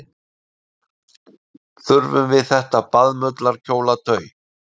Þurfum við þetta baðmullarkjólatau?